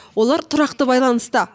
олар тұрақты байланыста